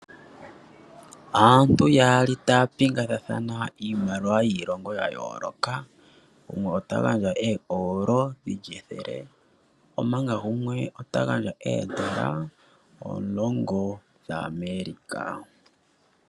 Aantu yaali taya pinga thathana iimaliwa yiilongo ya yooloka. Gumwe ota gandja eeEuro 100, omanga gumwe ota gandja eedola 10 dha America.